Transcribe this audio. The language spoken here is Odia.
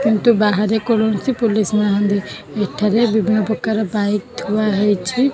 କିନ୍ତୁ ବାହାରେ କୌଣସି ପୁଲିସ ନାହାଁନ୍ତି ଭିତରେ ବିଭିନ୍ନ ପ୍ରକାର ବାଇକ ଥୁଆହେଇଛି।